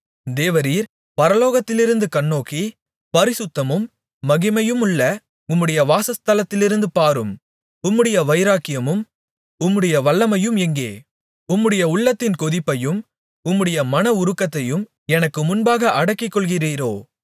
தேவரீர் பரலோகத்திலிருந்து கண்ணோக்கி பரிசுத்தமும் மகிமையுமுள்ள உம்முடைய வாசஸ்தலத்திலிருந்து பாரும் உம்முடைய வைராக்கியமும் உம்முடைய வல்லமையும் எங்கே உம்முடைய உள்ளத்தின் கொதிப்பையும் உம்முடைய மனஉருக்கத்தையும் எனக்கு முன்பாக அடக்கிக்கொள்ளுகிறீரோ